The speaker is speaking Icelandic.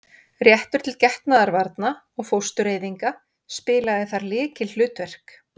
Réttur til getnaðarvarna og fóstureyðinga spilaði þar lykilhlutverk.